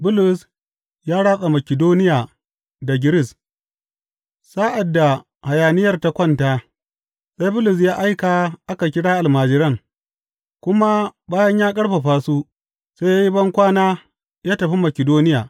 Bulus ya ratsa Makidoniya da Giris Sa’ad da hayaniyar ta kwanta, sai Bulus ya aika a kira almajiran, kuma bayan ya ƙarfafa su, sai ya yi bankwana ya tafi Makidoniya.